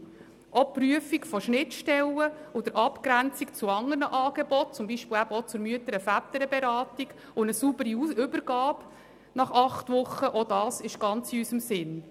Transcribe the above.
Auch die Prüfung der Schnittstellen und der Abgrenzung zu anderen Angeboten, wie zum Beispiel auch zur Mütter- und Väterberatung, sowie eine saubere Übergabe nach acht Wochen ist ebenfalls ganz in unserem Sinn.